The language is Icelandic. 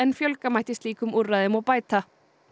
fjölga mætti slíkum úrræðum og bæta